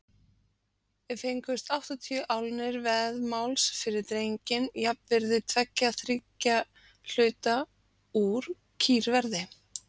Fengust áttatíu álnir vaðmáls fyrir drenginn, jafnvirði tveggja þriðju hluta úr kýrverði.